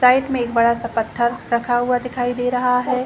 Side में एक बड़ा-सा पत्थर रखा हुआ दिखाई दे रहा है ।